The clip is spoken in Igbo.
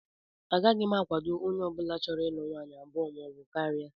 Agaghị m akwado onye ọbụla chọrọ ịlụ nwaanyị abụọ maọbụ karịa